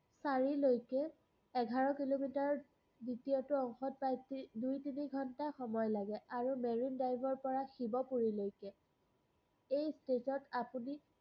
চাৰিলৈকে এঘাৰ কিলোমিটাৰ দ্বিতীয়টো অংশত প্ৰায় দুই-তিনি ঘন্টা সময় লাগে, আৰু marine drive ৰপৰা শিৱপুৰীলৈকে। এই state ত আপুনি